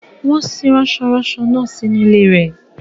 Wọ́n sin rasọ-ranso náà sínú ilé rẹ̀.